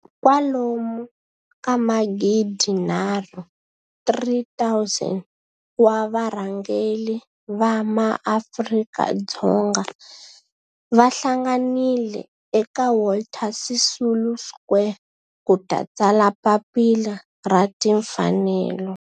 kwalomu ka magidi nharhu, 3 000 wa varhangeri va maAfrika-Dzonga va hlanganile eka Walter Sisulu Square ku ta tsala Papila ra Tinfanelo.